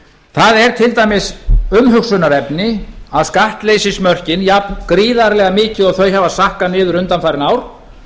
það er til dæmis umhugsunarefni að skattleysismörkin jafn gríðarlega mikið og þau hafa sakkað niður undanfarin ár